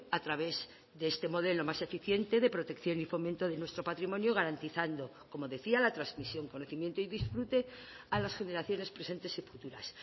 a través de este modelo más eficiente de protección y fomento de nuestro patrimonio garantizando como decía la transmisión conocimiento y disfrute a las generaciones presentes y futuras